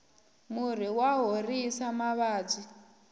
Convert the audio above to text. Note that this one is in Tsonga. murhi wa horisa mavabyi